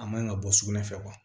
A man ka bɔ sugunɛ fɛ